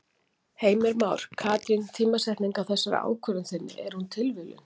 Heimir Már: Katrín tímasetningin á þessari ákvörðun þinni, er hún tilviljun?